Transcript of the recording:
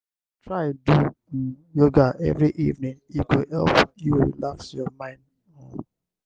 try do um yoga every evening e go help you relax your mind. um